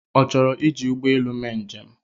Ọ chọrọ iji ụgbọelu mee njem?